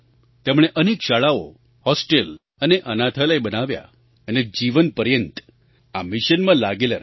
તેમણે અનેક શાળાઓ હૉસ્ટેલ અને અનાથાલય બનાવ્યાં અને જીવનપર્યંત આ મિશનમાં લાગેલાં રહ્યાં